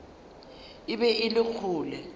e be e le kgole